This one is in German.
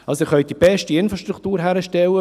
Sie können die beste Infrastruktur hinstellen.